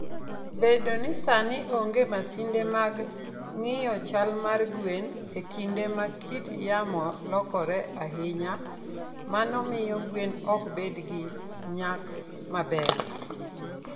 Bedo ni sani onge masinde mag ng'iyo chal mar gwen e kinde ma kit yamo lokore ahinya, mano miyo gwen ok bed gi nyak maber.